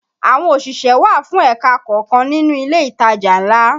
Àwọn òṣìṣẹ́ wà fún ẹ̀ka kọ̀ọ̀kan nínú ilé ìtajà ńlá